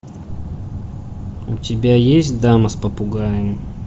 у тебя есть дама с попугаем